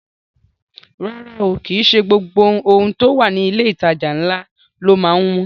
Rárá o, kìí ṣe gbogbo ohun tó wà ní ilé ìtajà ńlá ló má ń wọ́n